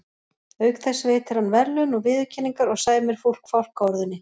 Auk þess veitir hann verðlaun og viðurkenningar og sæmir fólk fálkaorðunni.